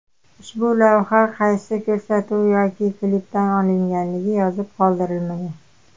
Ushbu lavha qaysi ko‘rsatuv yoki klipdan olinganligi yozib qoldirilmagan.